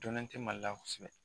Dɔnnen tɛ Mali la kosɛbɛ